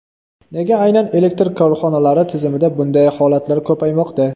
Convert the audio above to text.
Nega aynan elektr korxonalari tizimida bunday holatlar ko‘paymoqda?